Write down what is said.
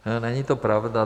Není to pravda.